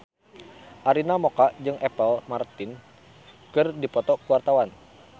Arina Mocca jeung Apple Martin keur dipoto ku wartawan